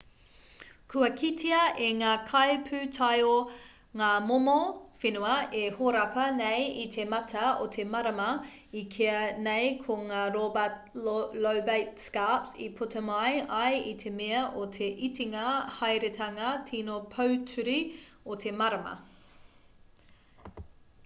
kua kitea e ngā kaipūtaiao ngā momo whenua e horapa nei i te mata o te marama e kīa nei ko ngā lobate scarps i puta mai ai i te mea o te itinga haeretanga tīno pōturi o te marama